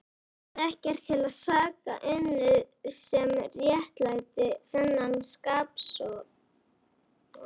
Hafði ekkert til saka unnið sem réttlætti þennan skapofsa.